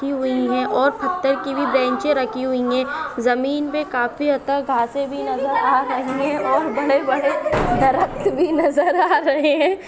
ही हुई है और पत्ते की भी बेंचे रखी हुई है जमीन पे काफी अता घासे भी नजर आ रही है और बड़े बड़े दरक्क भी नजर आ रहे है।